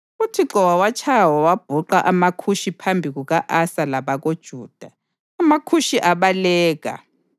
UThixo wawatshaya wawabhuqa amaKhushi phambi kuka-Asa labakoJuda. AmaKhushi abaleka,